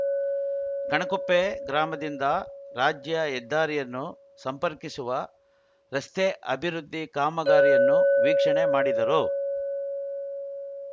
ಕಣಕುಪ್ಪೆ ಗ್ರಾಮದಿಂದ ರಾಜ್ಯ ಹೆದ್ದಾರಿಯನ್ನು ಸಂಪರ್ಕಿಸುವ ರಸ್ತೆ ಅಭಿವೃದ್ಧಿ ಕಾಮಗಾರಿಯನ್ನು ವೀಕ್ಷಣೆ ಮಾಡಿದರು